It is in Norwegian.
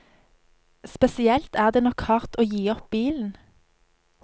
Spesielt er det nok hardt å gi opp bilen.